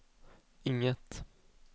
inget